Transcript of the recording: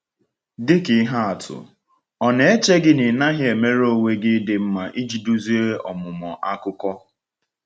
Dịka ihe atụ, ọ̀ na-èche gị na ị naghị emere onwe gị ịdị mma iji duzie ọmụmụ akụkọ?